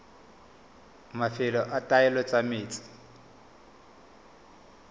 mafelo a taolo ya metsi